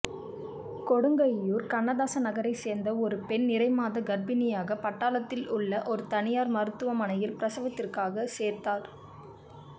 கொடுங்கையூர் கண்ணதாசன் நகரை சேர்ந்த ஒரு பெண் நிறைமாத கர்ப்பிணியாக பட்டாளத்தில் உள்ள ஒரு தனியார் மருத்துவமனையில் பிரசவத்திற்காக சேர்த்தார்